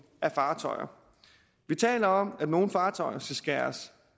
af fartøjer vi taler om at nogle fartøjer skal skæres